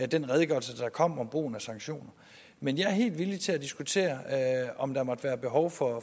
den redegørelse der kom om brugen af sanktioner men jeg er helt villig til at diskutere om der måtte være behov for